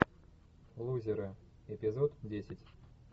лузеры эпизод десять